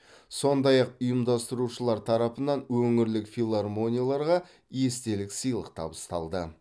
сондай ақ ұйымдастырушылар тарапынан өңірлік филармонияларға естелік сыйлық табысталды